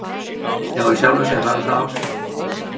Já í sjálfu sér hafði það áhrif.